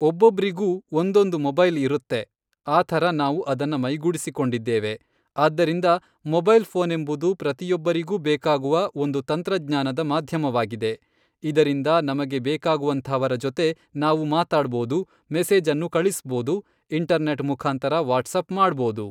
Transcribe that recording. ಒಬ್ಬೊಬ್ರಿಗೂ ಒಂದೊಂದು ಮೊಬೈಲ್ ಇರುತ್ತೆ ಆ ಥರ ನಾವು ಅದನ್ನ ಮೈಗೂಡಿಸಿಕೊಂಡಿದ್ದೇವೆ ಆದ್ದರಿಂದ ಮೊಬೈಲ್ ಫೋನೆಂಬುದು ಪ್ರತಿಯೊಬ್ಬರಿಗೂ ಬೇಕಾಗುವ ಒಂದು ತಂತ್ರಜ್ಞಾನದ ಮಾಧ್ಯಮವಾಗಿದೆ ಇದರಿಂದ ನಮಗೆ ಬೇಕಾಗುವಂಥವರ ಜೊತೆ ನಾವು ಮಾತಾಡ್ಬೋದು ಮೆಸೇಜನ್ನು ಕಳಿಸ್ಬೋದು ಇಂಟರ್ ನೆಟ್ ಮುಖಾಂತರ ವಾಟ್ಸಪ್ ಮಾಡ್ಬೋದು